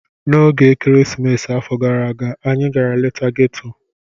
N'oge ekeresimesi afọ gara aga, anyị gara leta ghetto.